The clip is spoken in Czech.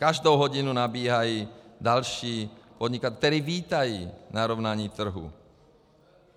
Každou hodinu nabíhají další podnikatelé, kteří vítají narovnání trhu.